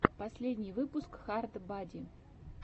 последний выпуск хард бади